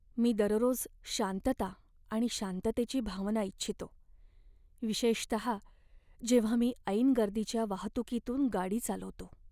मी दररोज शांतता आणि शांततेची भावना इच्छितो, विशेषतः जेव्हा मी ऐन गर्दीच्या वाहतुकीतून गाडी चालवतो.